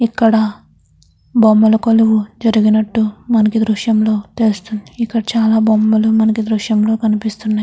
ఇక్కడ బొమ్మలు కొల్లువు జరినాటు మనకి దృశం లో తెలుస్తింది. ఇక్కడ చల్లా బుమ్మలు మనకి దృశం లో కనిపిస్తుంది. .